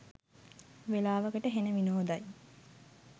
වෙලාවකට හෙන විනෝදයි.